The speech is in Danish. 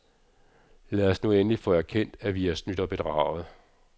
Lad os nu endelig få erkendt, at vi er snydt og bedraget.